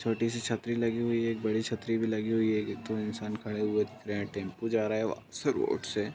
छोटी-सी छतरी लगी हुई है एक बड़ी छतरी भी लगी हुई है| एक-दो इंसान खड़े हुए देख रहा है टेम्पो जा रहा है उसी रोड से ।